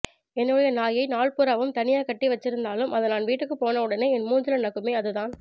என்னோட நாயை நாள் பூராவும் தனியா கட்டி வச்சிருந்தாலும் அது நான் வீட்டுக்கு போனவுடனே என் மூஞ்சில நக்குமே அதுதான்